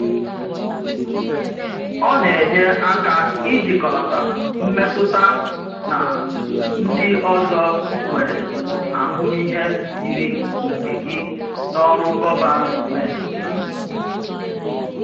Ọ na-enye aka ijikọlata mmetụtana ndị ọzọ nwere ahụmịhe yiri nke gị n’ọrụ gọvanmentị.